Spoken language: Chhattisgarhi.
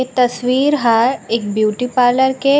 एक तस्वीर है एक ब्यूटी पार्लर के --